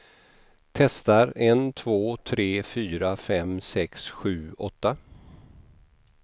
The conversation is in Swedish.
Testar en två tre fyra fem sex sju åtta.